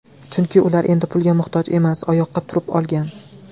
Chunki ular endi pulga muhtoj emas, oyoqqa turib olgan.